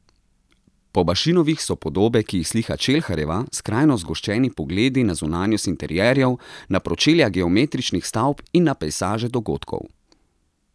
Po Bašinovih so podobe, ki jih slika Čelharjeva, skrajno zgoščeni pogledi na zunanjost interjerjev, na pročelja geometričnih stavb in na pejsaže dogodkov.